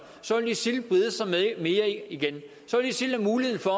så vil isil brede sig mere igen så vil isil have mulighed for